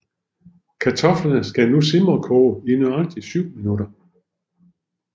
Kartoflerne skal nu simrekoge i nøjagtig 7 minutter